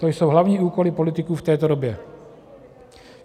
To jsou hlavní úkoly politiků v této době.